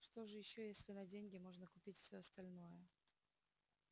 что же ещё если на деньги можно купить все остальное